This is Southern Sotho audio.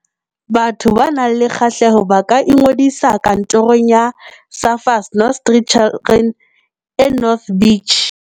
Batho ba nang le kgahleho ba ka ingodisa Kantorong ya Surfers Not Street Children e North Beach.